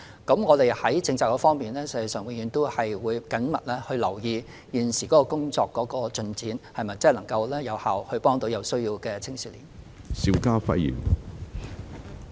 在政策上，政府必定會時刻緊密留意現時的工作進展，探討是否能真正有效幫助有需要的青少年。